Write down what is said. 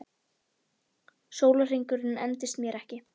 Sólarhringurinn endist mér ekki.